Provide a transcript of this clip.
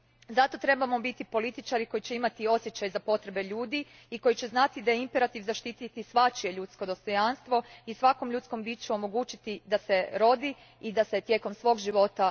Zato trebamo biti političari koji će imati osjećaj za potrebe ljudi i koji će znati da je imperativ zaštititi svačije ljudsko dostojanstvo i svakom ljudskom biću omogućiti da se rodi i da se tijekom svog života